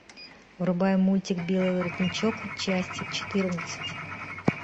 врубай мультик белый воротничок часть четырнадцать